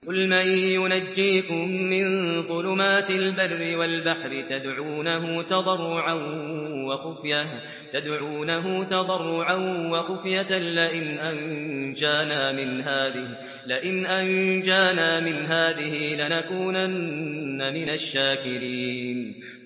قُلْ مَن يُنَجِّيكُم مِّن ظُلُمَاتِ الْبَرِّ وَالْبَحْرِ تَدْعُونَهُ تَضَرُّعًا وَخُفْيَةً لَّئِنْ أَنجَانَا مِنْ هَٰذِهِ لَنَكُونَنَّ مِنَ الشَّاكِرِينَ